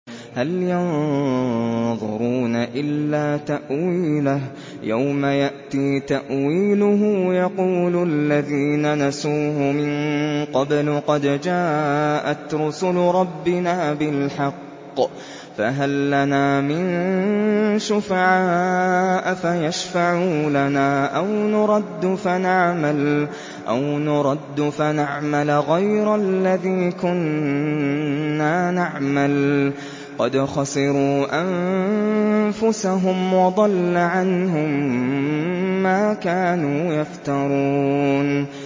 هَلْ يَنظُرُونَ إِلَّا تَأْوِيلَهُ ۚ يَوْمَ يَأْتِي تَأْوِيلُهُ يَقُولُ الَّذِينَ نَسُوهُ مِن قَبْلُ قَدْ جَاءَتْ رُسُلُ رَبِّنَا بِالْحَقِّ فَهَل لَّنَا مِن شُفَعَاءَ فَيَشْفَعُوا لَنَا أَوْ نُرَدُّ فَنَعْمَلَ غَيْرَ الَّذِي كُنَّا نَعْمَلُ ۚ قَدْ خَسِرُوا أَنفُسَهُمْ وَضَلَّ عَنْهُم مَّا كَانُوا يَفْتَرُونَ